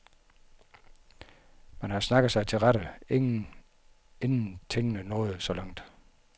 Man har snakket sig til rette, inden tingene er nået så langt.